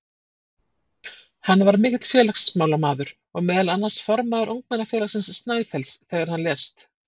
Hann var mikill félagsmálamaður og meðal annars formaður ungmennafélagsins Snæfells þegar hann lést.